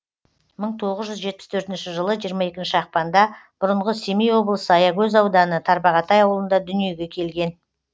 мың тоғыз жүз жетпіс төртінші жылы жиырма екінші ақпанда бұрынғы семей облысы аягөз ауданы тарбағатай ауылында дүниеге келген